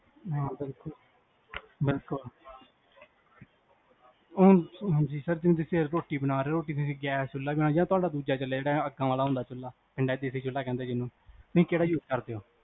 ਹਾਂ ਬਿਲਕੁਲ, ਬਿਲਕੁਲ ਹਾਂਜੀ ਹਾਂਜੀ, ਫੇਰ ਰੋਟੀ ਬਣਾ ਰੇ, ਗੈਸ ਚੁਲ੍ਹਾ ਬਣਾ ਜਾ ਤੁਹਾਡਾ ਦੂਜਾ ਚਲਾ ਜੇਹੜਾ ਅੱਕਾਂ ਵਾਲਾ ਹੁੰਦਾ ਚੁਲ੍ਹਾ, ਪਿੰਡ ਚ ਓਹਨੂੰ ਦੇਸੀ ਚੁਲ੍ਹਾ ਕਹਿੰਦੇ ਜਿੰਨੂ, ਤੁਸੀਂ ਕੇਹੜਾ use ਕਰਦੇ ਹੋ?